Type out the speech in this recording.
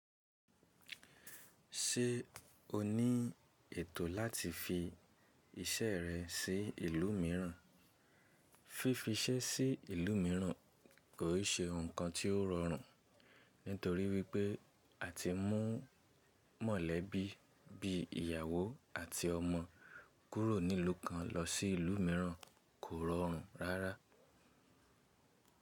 Ṣé o ní ètò láti fi iṣẹ́ rẹ sí ìlú mìíràn? Fífi ṣẹ́ sí ìlú mìíràn kò ṣe nǹkan tí ó rọrùn, nítorí wípé àti mú mọ̀lẹ́bí bí ìyàwó àti ọmọ kúrò nílù kan lọ sí ìlú mìíràn kò rọrùn rárá.